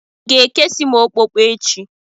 I ga-ekesi m okpokpo echi?